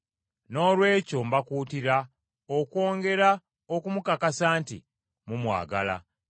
Noolwekyo mbakuutira okwongera okumukakasa nti mumwagala.